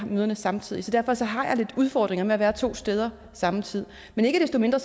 møder samtidig så derfor har jeg lidt udfordringer med at være to steder samme tid men ikke desto mindre